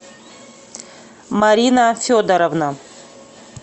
марина федоровна